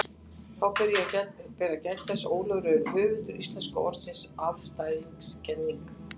Þá ber að geta þess, að Ólafur er höfundur íslenska orðsins afstæðiskenning.